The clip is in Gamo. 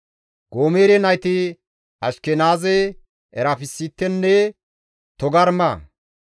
Goomere nayti Ashkenaaze, Erefasitenne Togarma.